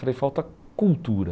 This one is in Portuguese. falei Falta cultura.